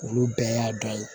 Olu bɛɛ y'a dɔn